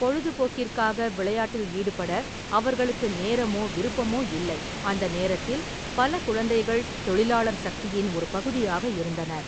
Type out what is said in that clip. பொழுதுபோக்கிற்காக விளையாட்டில் ஈடுபட அவர்களுக்கு நேரமோ விருப்பமோ இல்லை, அந்த நேரத்தில், பல குழந்தைகள் தொழிலாளர் சக்தியின் ஒரு பகுதியாக இருந்தனர்.